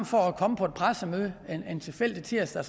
for at komme på et pressemøde en tilfældig tirsdag